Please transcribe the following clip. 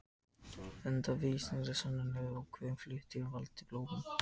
Engar vísindalegar sannanir eru fyrir því að ákveðnar fæðutegundir valdi bólum.